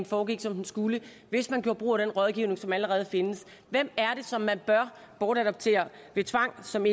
foregik som den skulle og hvis man gjorde brug af den rådgivning som allerede findes hvem er det som man bør bortadoptere ved tvang og som